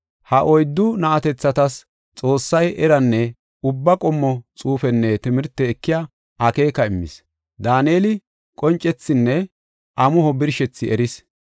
Ha oyddu na7atethatas Xoossay eranne ubba qommo xuufenne timirte ekiya akeeka immis. Daaneli qoncethinne amuho birshethi erees.